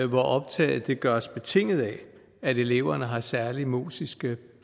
hvor optaget gøres betinget af at eleverne har særlige musiske